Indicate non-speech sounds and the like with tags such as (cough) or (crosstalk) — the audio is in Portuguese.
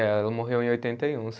Ela morreu em oitenta e um (unintelligible)